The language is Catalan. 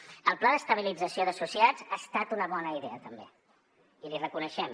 el pla d’estabilització d’associats ha estat una bona idea també i l’hi reconeixem